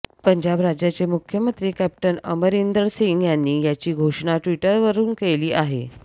पंजाब राज्याचे मुख्यमंत्री कॅप्टन अमरिंदर सिंग यांनी याची घोषणा ट्विटरवरून केली आहे